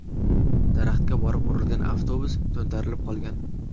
Daraxtga borib urilgan avtobus to‘ntarilib qolgan.